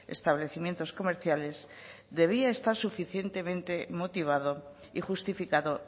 establecimientos comerciales debía estar suficientemente motivado y justificado